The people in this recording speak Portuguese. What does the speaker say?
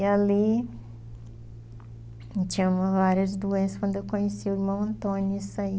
E ali, eu tinha várias doenças quando eu conheci o irmão Antônio e saí.